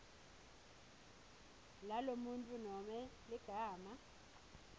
lalomuntfu nobe ligama